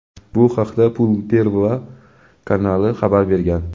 Bu haqda "Pul Pervogo" kanali xabar bergan.